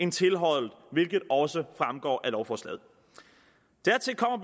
end tilhold hvilket også fremgår af lovforslaget dertil kommer